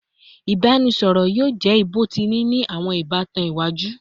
Ibaraẹnisọrọ yoo jẹ bọtini ni awọn ibatan iwaju